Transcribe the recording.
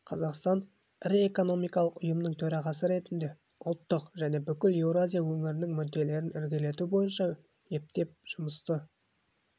қазақстан ірі экономикалық ұйымының төрағасы ретінде ұлттық және бүкіл еуразия өңірінің мүдделерін ілгерілету бойынша ептеп жұмысты